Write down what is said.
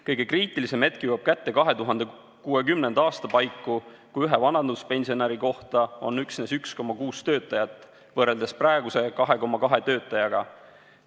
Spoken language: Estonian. Kõige kriitilisem hetk jõuab kätte 2060. aasta paiku, kui ühe vanaduspensionäri kohta on üksnes 1,6 töötajat võrreldes praeguse 2,2 töötajaga.